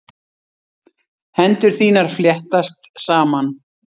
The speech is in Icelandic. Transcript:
Hendur þínar fléttast saman.